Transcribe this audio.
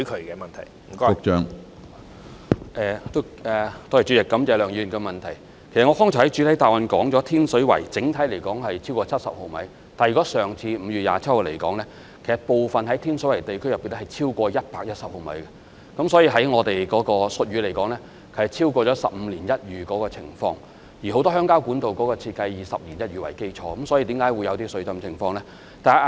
我剛才在主體答覆中已經指出，以上次5月27日為例，天水圍等地區的整體降雨量超過70毫米，但天水圍部分地區更超過110毫米，按照我們的術語，是超過"十五年一遇"的情況，而很多鄉郊管道的設計是以"十年一遇"為基礎，特大暴雨相信是此次出現水浸的主因。